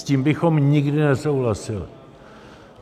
S tím bychom nikdy nesouhlasili.